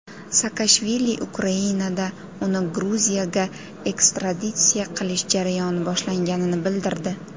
Saakashvili Ukrainada uni Gruziyaga ekstraditsiya qilish jarayoni boshlanganini bildirdi.